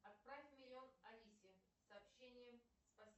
отправь миллион алисе сообщение